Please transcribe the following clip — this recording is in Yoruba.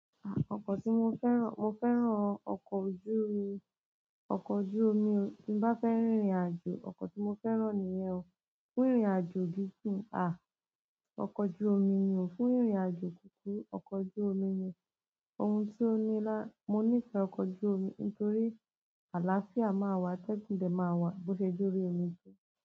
Ọkọ̀ tí mo fẹ́ràn, mo fẹ́ràn ọkọ̀ ojú omi ti n bá fẹ́ rírìn àjò, ni ìrìn àjò gidi ah ọkọ̀ ojú omi ni o, fún rìnrìn àjò kúkú, ọkọ̀ ojú omi ni, ohun tó ní lá, mo nífẹ̀ẹ́ ọkọ̀ ojú omi nítorí àlàáfíà máa wà, atẹ́gùn dẹ̀ máa wà bó ṣe jórí omi.